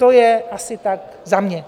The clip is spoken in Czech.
To je asi tak za mě.